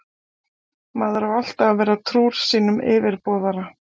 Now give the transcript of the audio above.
Maður á alltaf að vera trúr sínum yfirboðara.